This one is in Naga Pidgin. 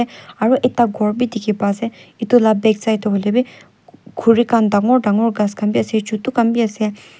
aru ekta ghor bi dikhi pai se itu la backside huilewi khuri khan dangor ghas khan bi ase chutu khan bi ase.